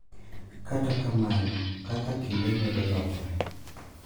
Kata kamano, kaka kinde medo lokore .